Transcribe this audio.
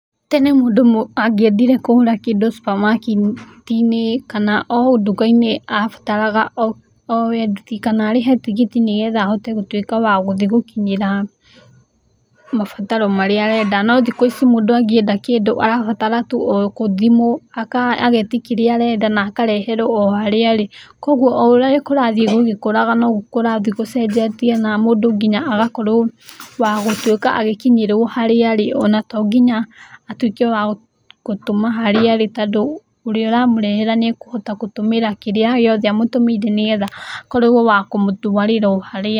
Tene mũndũ angĩendire kũgũra kĩndũ supamaketi-inĩ kana o nduka-inĩ abataraga oe nduthi kana arĩhe tigiti nĩgetha ahote gũtuĩka wa gũthiĩ gũkinyĩra mabataro marĩa arenda, no thikũ ici mũndũ angĩenda kĩndũ arabatara tu o thimũ agetia kĩrĩa arenda na akareherwo o harĩa arĩ, kũguo o ũrĩa kũrathiĩ gũgĩkũraga noguo kũrathiĩ gũcenjetie na mũndũ nginya agakorwo wa gũtuĩka agĩkinyĩrwo harĩa arĩ o na tonginya atuĩke wa gũtũma harĩa arĩ tondũ ũrĩa ũramũrehera nĩ agũtuĩka wa gũtũmĩra kĩrĩa gĩothe amũtũmĩire nĩgetha akorwo wa kũmũtwarĩra o harĩa arĩ.